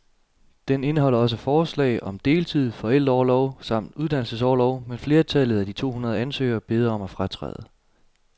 Den indeholder også forslag om deltid, forældreorlov samt uddannelsesorlov, men flertallet af de to hundrede ansøgere beder om at fratræde.